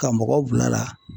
Ka mɔgɔ bilala